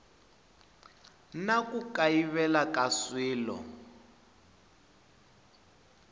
na ku kayivela ka swilo